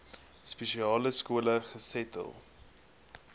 spesiale skole gesetel